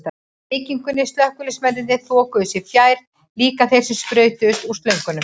byggingunni, slökkviliðsmennirnir þokuðu sér fjær, líka þeir sem sprautuðu úr slöngunum.